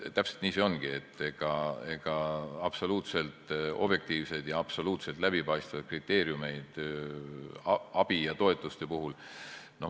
Täpselt nii see ongi, ega absoluutselt objektiivseid ja absoluutselt läbipaistvaid kriteeriumeid abi ja toetuste puhul.